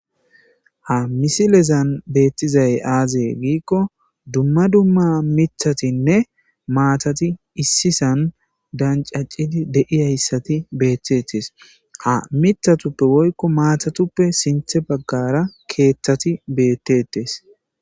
ha misilezan beettizay aaze giikko dumma dumma mithatinne maatati issisan dancacidi deiyayssati beettetes a mithatuppe woykko maatatuppe sinthe baggara keeththati beettetes.